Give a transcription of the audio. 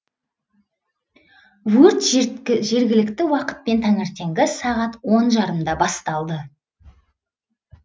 өрт жергілікті уақытпен таңертеңгі сағат он жарымда басталды